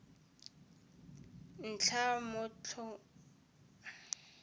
ntlha mot honi a amogwa